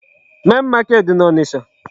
Main market dị n'Ọnịcha.